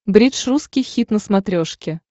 бридж русский хит на смотрешке